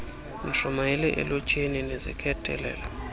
nishumayele elutsheni luzikhethele